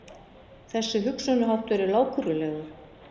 Þessi hugsunarháttur er lágkúrulegur!